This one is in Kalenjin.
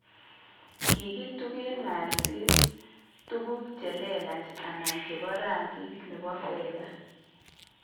Ki kituge Gallseng' tuguuk che leelach anan che po rangik ne bo fedha.